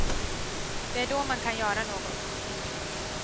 Det är då man kan göra något.